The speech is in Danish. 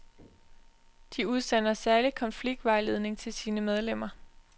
De udsender særlig konfliktvejledning til sine medlemmer.